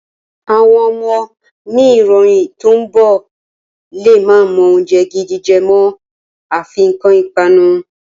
Àwọn ọmọ ni ìran tí ó ń bọ̀ lè má mọ oúnjẹ gidi jẹ mọ́, afi nǹkan ipanu.